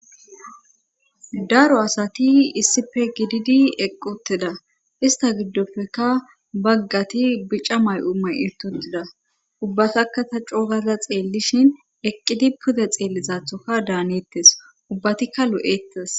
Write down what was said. Daro asati issife gididi eqqi utida ista giddofeka baggati bica may'u may'ututida ubbatakka ta coo gada xeellishin eqqidi pude xeellizaththoka daanettes ubbatikka lo'ettes